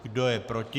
Kdo je proti?